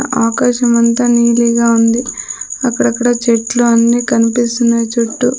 ఆకాశమంత నీలిగా ఉంది అక్కడక్కడ చెట్లు అన్నీ కనిపిస్తున్నాయి చుట్టూ.